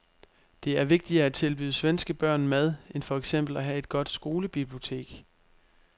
Det er vigtigere at tilbyde svenske børn mad end for eksempel at have et godt skolebibliotek.